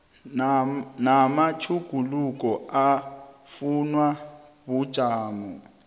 namatjhuguluko afunwa bujamo